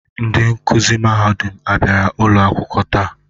Ndị nkuzi mahadum abịara ụlọ akwụkwọ taa?